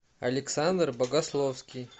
александр богословский